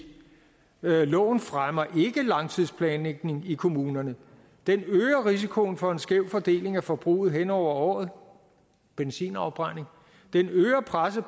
loven fremmer ikke langtidsplanlægning i kommunerne den øger risikoen for en skæv fordeling af forbruget hen over året benzinafbrænding den øger presset